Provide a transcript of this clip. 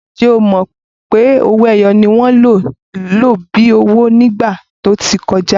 Ǹjẹ́ o mọ̀ pé owó-ẹyọ ni wọ́n lò bíi owó ní ìgbà tí ó ti kọjá?